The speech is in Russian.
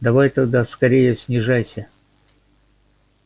давай тогда скорее снижайся